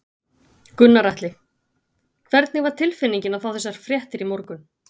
Gunnar Atli: Hvernig var tilfinningin að fá þessar fréttir í morgun?